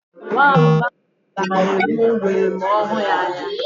Nwamba ahụ ga-egbu ngwere ma ọ hụ ya anya.